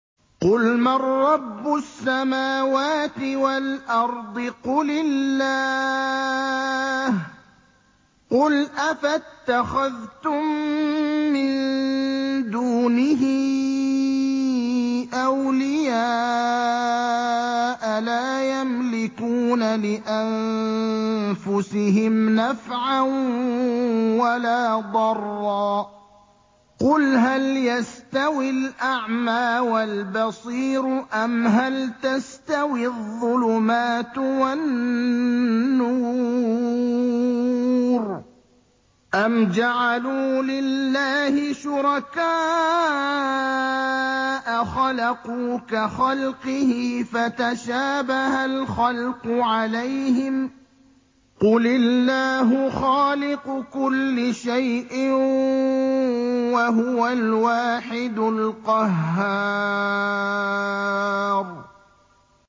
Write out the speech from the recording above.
قُلْ مَن رَّبُّ السَّمَاوَاتِ وَالْأَرْضِ قُلِ اللَّهُ ۚ قُلْ أَفَاتَّخَذْتُم مِّن دُونِهِ أَوْلِيَاءَ لَا يَمْلِكُونَ لِأَنفُسِهِمْ نَفْعًا وَلَا ضَرًّا ۚ قُلْ هَلْ يَسْتَوِي الْأَعْمَىٰ وَالْبَصِيرُ أَمْ هَلْ تَسْتَوِي الظُّلُمَاتُ وَالنُّورُ ۗ أَمْ جَعَلُوا لِلَّهِ شُرَكَاءَ خَلَقُوا كَخَلْقِهِ فَتَشَابَهَ الْخَلْقُ عَلَيْهِمْ ۚ قُلِ اللَّهُ خَالِقُ كُلِّ شَيْءٍ وَهُوَ الْوَاحِدُ الْقَهَّارُ